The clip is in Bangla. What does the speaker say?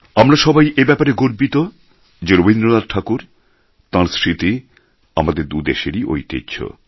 আমরা সবাই এ ব্যাপারে গর্বিত যে রবীন্দ্রনাথ ঠাকুর তাঁর স্মৃতি আমাদের দু দেশেরই ঐতিহ্য